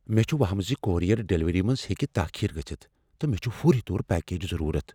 مےٚ چھ وہمہ زِ کورئیر ڈلیوری منٛز ہیٚکہ تاخیر گژھتھ، تہٕ مےٚ چھُ فوری طور پیکجک ضرورت۔